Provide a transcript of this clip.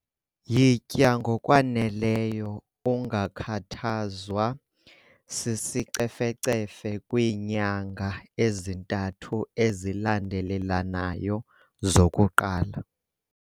Yitya ngokwaneleyo ungakhathazwa sisicefecefe kwiinyanga ezintathu ezilandelelanayo zokuqala.